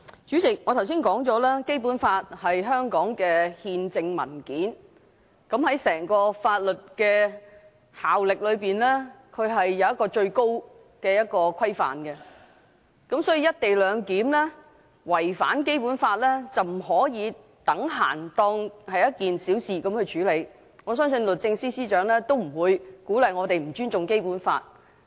主席，我剛才說過，《基本法》是香港的憲制文件，是整個法律制度中的最高規範，所以"一地兩檢"違反《基本法》，不可視作等閒地處理，我相信律政司司長也不會鼓勵我們不尊重《基本法》。